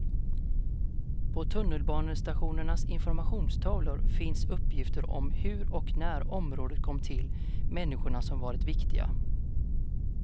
På tunnelbanestationernas informationstavlor finns uppgifter om hur och när området kom till, människor som varit viktiga.